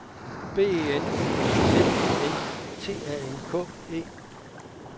B E N Z I N T A N K E